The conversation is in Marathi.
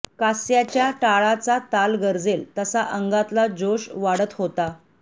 कास्याच्या टाळाचा ताल गर्जेल तसा अंगातला जोश वाढत होता